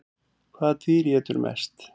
Hvaða dýr étur mest?